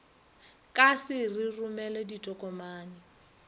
ka se re romele ditokomane